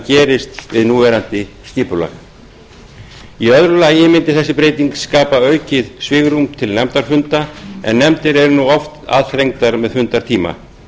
gerist við núverandi skipulag í öðru lagi mundi þessi breyting skapa aukið svigrúm til nefndafunda en nefndir eru nú oft aðþrengdar með fundartíma